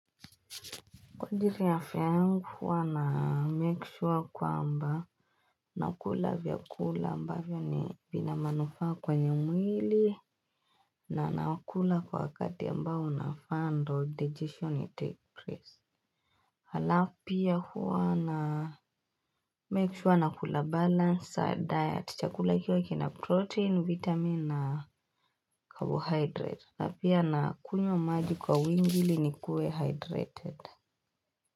Kwa ajiri ya afya yangu huwa na make sure kwamba nakula vyakula ambayo ni vina manufaa kwenye mwili na nakula kwa wakati ambao unafaa ndo digestion itake prace. Halafu pia huwa na make sure nakula balansa diet chakula ikio kina protein, vitamin na carbohydrate na pia nakunywa maji kwa uingi ili nikue hydrated.